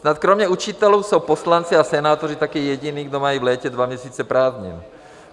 Snad kromě učitelů jsou poslanci a senátoři také jediní, kdo mají v létě dva měsíce prázdnin.